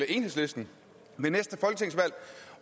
enhedslisten